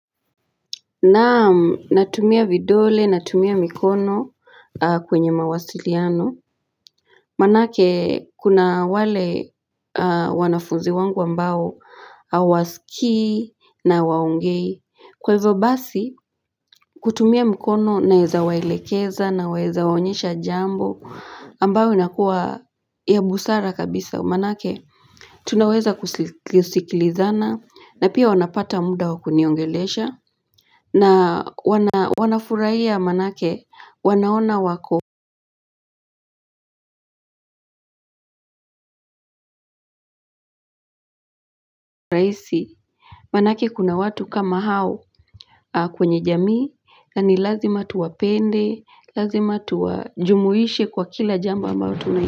Naam, natumia vidole, natumia mikono kwenye mawasiliano. Manake, kuna wale wanafuzi wangu ambao hawasikii na hawaongei. Kwa hivyo basi, kutumia mikono naweza waelekeza naweza waonyesha jambo ambao inakuwa ya busara kabisa. Manake, tunaweza kusikilizana na pia wanapata muda wa kuniongelesha na wanafurahia manake wanaona wako rahisi manake kuna watu kama hao kwenye jamii na ni lazima tuwapende lazima tuajumuishe kwa kila jambo ambao tunai.